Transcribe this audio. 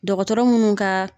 Dɔkɔtɔrɔ munnu ka